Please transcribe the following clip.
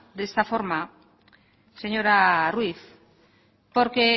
de esta forma señora ruíz porque